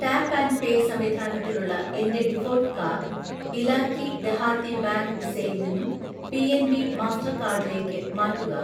Tap and pay സംവിധാനത്തിലുള്ള എൻ്റെ default card Ilaqai Dehati bank വിസയിൽ നിന്നും പി.എൻ.ബി മാസ്റ്റർകാർഡ് ഇലേക്ക്‌ മാറ്റുക.